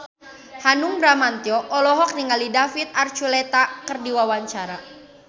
Hanung Bramantyo olohok ningali David Archuletta keur diwawancara